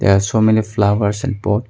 There are so many flowers and pot.